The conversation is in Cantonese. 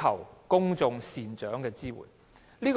求公眾人士的支援。